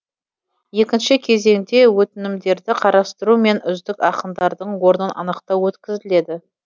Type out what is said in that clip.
екінші кезеңде өтінімдерді қарастыру мен үздік ақындардың орнын анықтау өткізіледі